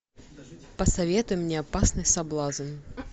посоветуй мне опасный соблазн